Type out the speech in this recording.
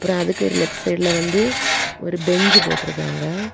அப்ரோ அதுக்கு லெஃப்ட் சைடுல வந்து ஒரு பெஞ்சு போட்ருக்காங்க.